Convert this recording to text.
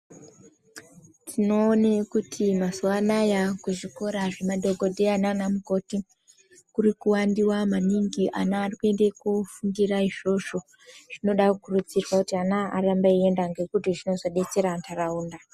Tinoone kuti mazuva anaya kuzvikoro zvemadhogodheya nanamukoti kurikuwanda maningi. Ana arikuenda kofundira izvozvo, zvinoda kukurudzirwa kuti ana arambe achienda ngekuti zvinozobatsira ntaraunda.